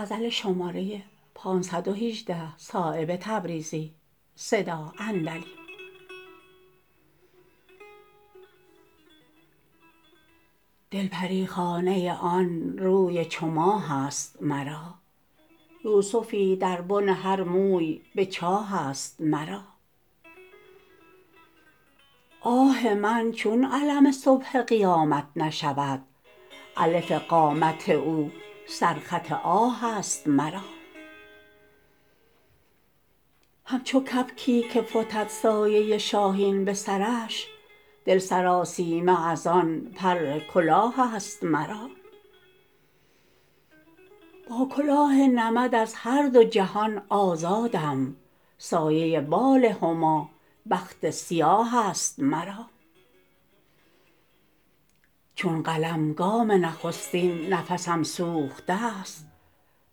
دل پریخانه آن روی چو ماه است مرا یوسفی در بن هر موی به چاه است مرا آه من چون علم صبح قیامت نشود الف قامت او سرخط آه است مرا همچو کبکی که فتد سایه شاهین به سرش دل سراسیمه ازان پر کلاه است مرا با کلاه نمد از هر دو جهان آزادم سایه بال هما بخت سیاه است مرا چون قلم گام نخستین نفسم سوخته است